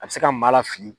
A bɛ se ka maa lafili